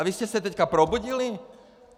A vy jste se teď probudili?